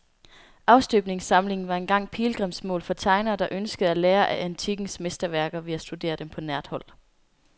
Afstøbningssamlingen var engang pilgrimsmål for tegnere, der ønskede at lære af antikkens mesterværker ved at studere dem på nært hold.